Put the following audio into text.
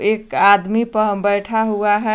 एक आदमी पह बैठा हुआ है।